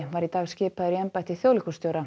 var í dag skipaður í embætti þjóðleikhússtjóra